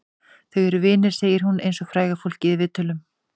Þau eru vinir, segir hún eins og fræga fólkið í viðtölum.